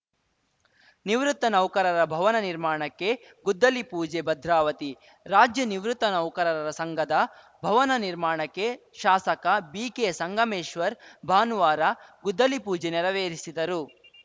ನಿವೃತ್ತ ನೌಕರರ ಭವನ ನಿರ್ಮಾಣಕ್ಕೆ ಗುದ್ದಲಿ ಪೂಜೆ ಭದ್ರಾವತಿ ರಾಜ್ಯ ನಿವೃತ್ತ ನೌಕರರ ಸಂಘದ ಭವನ ನಿರ್ಮಾಣಕ್ಕೆ ಶಾಸಕ ಬಿಕೆ ಸಂಗಮೇಶ್ವರ್‌ ಭಾನುವಾರ ಗುದ್ದಲಿಪೂಜೆ ನೆರವೇರಿಸಿದರು